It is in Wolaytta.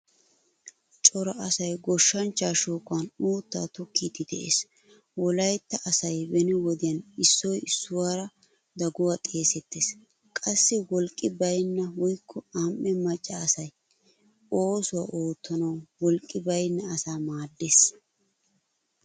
Cora asay goshshanchcha shooqan uutta tokkidi de'ees. Wolaytta asay beni wodiyan issoy issuwaara daguwaa xeesettees. Qassi wolqqi baynna woykko am'ee macca asay, oosuwaa oottanawu wolqqi baynna asaa maaddees.